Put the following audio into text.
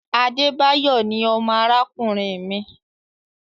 Adebayo ní ọmọ arakunrin mi